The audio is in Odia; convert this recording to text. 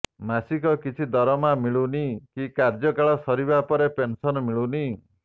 ମାସିକ କିଛି ଦରମା ମିଳୁନି କି କାର୍ଯ୍ୟକାଳ ସରିବା ପରେ ପେନସନ୍ ମିଳୁନି